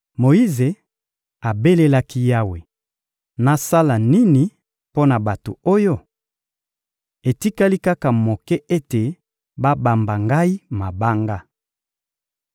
Moyize abelelaki Yawe: — Nasala nini mpo na bato oyo? Etikali kaka moke ete babamba ngai mabanga!